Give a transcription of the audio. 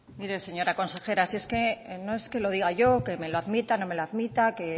mire señora consejera si es que no es que lo diga yo que me lo admita no me lo admita que